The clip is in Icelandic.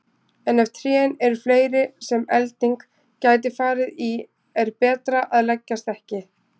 En ef trén eru fleiri sem elding gæti farið í er betra að leggjast ekki.